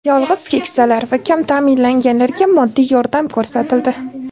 Yolg‘iz keksalar va kam ta’minlanganlarga moddiy yordam ko‘rsatildi.